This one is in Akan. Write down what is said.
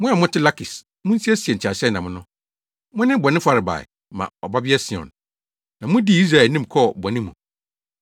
Mo a mote Lakis, munsiesie nteaseɛnam no. Mone bɔne farebae ma Ɔbabea Sion, na mudii Israel anim kɔɔ bɔne mu.